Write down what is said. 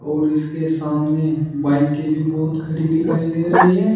और इसके सामने बाइक के भी बहोत खड़ी दिखाई दे रही है।